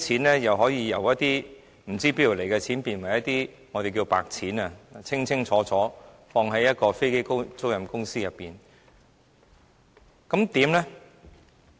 再者，可以把那些不知從何而來的錢變成"白錢"，清清楚楚地存放在一間飛機租賃公司內。